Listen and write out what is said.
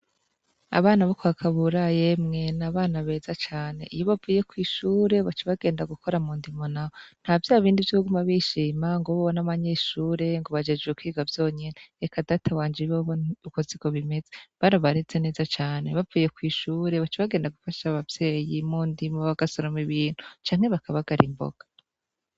Abana bo kwa Kabura yemwe ni abana beza cane, iyo bavuye kw'ishure baca bagenda gukora mu ndimo naho, nta vya bindi vyo kuguma bishima ngo bobo n’abanyeshure, ngo bajejwe kwiga vyonyene, eka data wanje bobo uko siko bimeze. Barabareze neza cane. Bavuye kw'ishure baca bagenda mu ndimo bagasoroma Ibintu, canke bakabagara imboga.